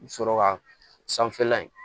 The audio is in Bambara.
Sɔrɔ ka sanfɛla in